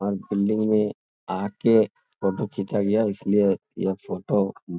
और बिल्डिंग में आ के फोटो खींचा गया इसलिए यह फोटो --